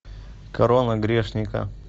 корона грешника